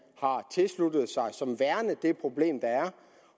har tilsluttet sig som værende det problem der er